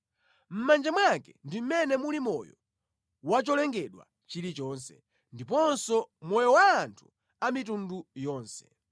Mʼmanja mwake ndi mʼmene muli moyo wa cholengedwa chilichonse, ndiponso moyo wa anthu a mitundu yonse.